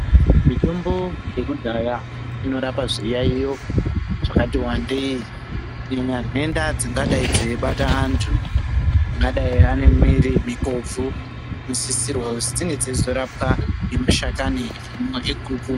Mitombo yekudhaya inorapa zviyaiyo zvakati wandei imwe nhenda dzingadayi yeibata vantu ungadai anemwiri mikobvo inosisirwa kuti dzinge dzeiropwa ngemushakani yeguka.